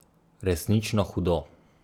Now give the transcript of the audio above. Resnično hudo.